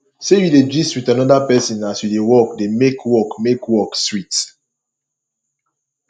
sey you dey gist with another person as you dey work dey make work make work sweet